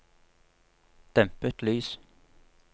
dempet lys